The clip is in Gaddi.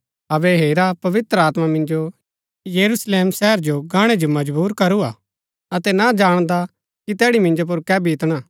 अबै हेरा पवित्र आत्मा मिन्जो यरूशलेम शहर जो गाणै जो मजबुर करूआ अतै ना जाणदा कि तैड़ी मिन्जो पुर कै बीतणा